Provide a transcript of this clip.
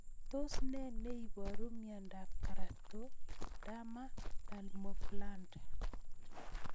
Tos ne neiparu miondop Keratoderma palmoplantar